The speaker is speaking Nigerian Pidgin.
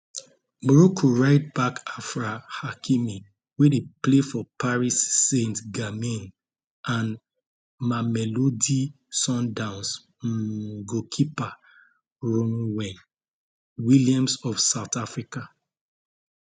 morocco rightback achraf hakimi wey dey play for paris saintgermain and mamelodi sundowns um goalkeeper ronwen williams of south africa